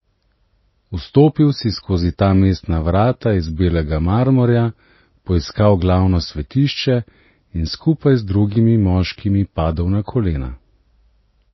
Vstopil si skozi ta mestna vrata iz belega marmorja, poiskal glavno svetišče in skupaj z drugimi moškimi padel na kolena.